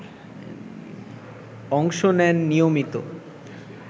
অংশ নেন নিয়মিত